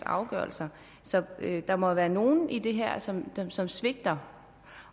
afgørelse så der må være nogle i det her som som svigter